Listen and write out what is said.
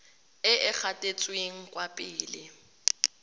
e e gatetseng kwa pele